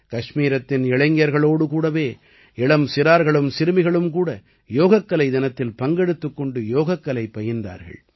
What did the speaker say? கஷ்மீரத்தின் இளைஞர்களோடு கூடவே இளம் சிறார்களும் சிறுமிகளும் கூட யோகக்கலை தினத்தில் பங்கெடுத்துக் கொண்டு யோகக்கலை பயின்றார்கள்